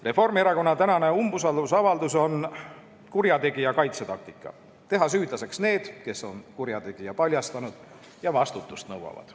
Reformierakonna tänane umbusaldusavaldus on kurjategija kaitsetaktika teha süüdlaseks need, kes on kurjategija paljastanud ja vastutust nõuavad.